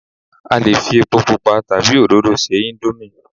a lè fi epo pupa tabi oróro se indomie